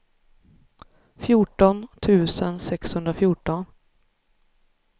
fjorton tusen sexhundrafjorton